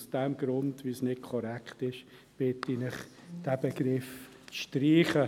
Aus diesem Grund, weil dies nicht korrekt ist, bitte ich Sie, diesen Begriff zu streichen.